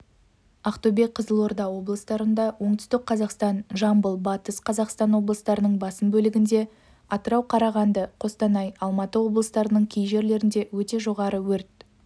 ақтөбе қызылорда облыстарында оңтүстік қазақстан жамбыл батыс қазақстан облыстарының басым бөлігінде атырау қарағанды қостанай алматы облыстарының кей жерлерінде өте жоғары өрт